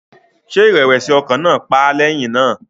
Ṣé ìrẹ̀wẹ̀sì ọkàn náà pa á lẹ́yìn náà?